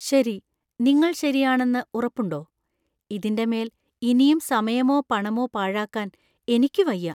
ശരി, നിങ്ങള്‍ ശരിയാണെന്ന് ഉറപ്പുണ്ടോ? ഇതിന്‍റെ മേല്‍ ഇനിയും സമയോ പണമോ പാഴാക്കാൻ എനിക്ക് വയ്യ.